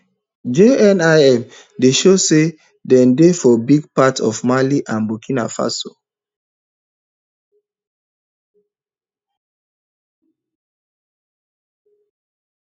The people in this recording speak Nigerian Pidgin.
jnim dey show say dem dey for big parts of mali and burkina faso